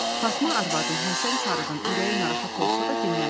Fatma arvadın Həsən sarıdan ürəyi narahat olsa da dinməzdi.